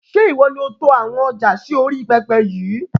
Ṣé ìwọ ni ó to àwọn ọjà sì orí pẹpẹ yìí?